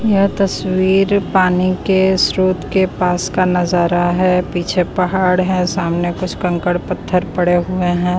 यह तस्वीर पानी के स्रोत के पास का नजारा है पीछे पहाड़ है सामने कुछ कंकड़ पत्थर पड़े हुए है।